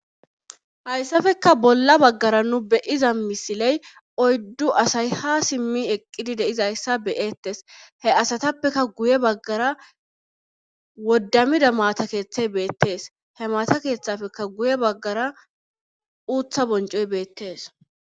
Haysapekka bolla bagggara nu be7iza misiley oyddu asay haa simmi eqqidi de7izayssa be7eettes he asatapeka guye baggara woddamida maata keethay beetes he maata keethapekka guye baggara uutha bonccoy beettes.